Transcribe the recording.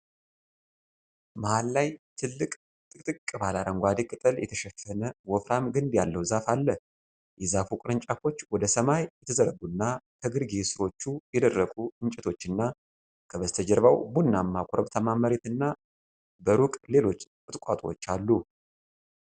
መሃል ላይ ትልቅ፣ ጥቅጥቅ ባለ አረንጓዴ ቅጠል የተሸፈነ ወፍራም ግንድ ያለው ዛፍ አለ። የዛፉ ቅርንጫፎች ወደ ሰማይ የተዘረጉና፣ ከግርጌ ሥሮቹና የደረቁ እንጨቶችና፣ ከበስተጀርባው ቡናማ ኮረብታማ መሬት እና በሩቅ ሌሎች ቁጥቋጦዎች አሉ።